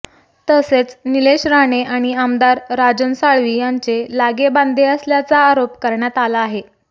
तसेच निलेश राणे आणि आमदार राजन साळवी यांचे लागेबांधे असल्याचा आरोप करण्यात आला आहे